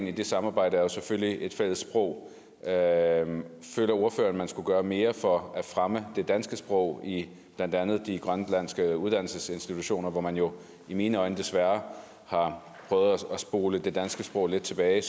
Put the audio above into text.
i det samarbejde er selvfølgelig et fælles sprog og at man skulle gøre mere for at fremme det danske sprog i blandt andet de grønlandske uddannelsesinstitutioner hvor man jo i mine øjne desværre har prøvet at spole det danske sprog lidt tilbage